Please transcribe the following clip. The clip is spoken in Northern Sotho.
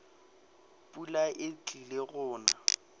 pula e tlile go na